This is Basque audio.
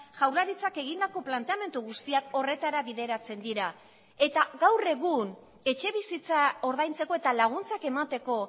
jaurlaritzak egindako planteamendu guztiak horretara bideratzen dira eta gaur egun etxebizitza ordaintzeko eta laguntzak emateko